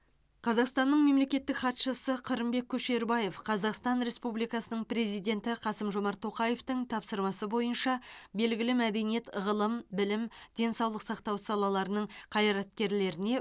қазақстанның мемлекеттік хатшысы қырымбек көшербаев қазақстан республикасының президенті қасым жомарт тоқаевтың тапсырмасы бойынша белгілі мәдениет ғылым білім денсаулық сақтау салаларының қайраткерлеріне